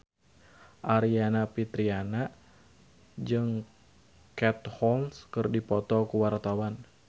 Aryani Fitriana jeung Katie Holmes keur dipoto ku wartawan